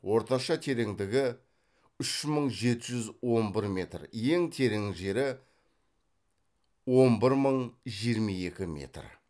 орташа тереңдігі үш мың жеті жүз он бір метр ең терең жері он бір мың жиырма екі метр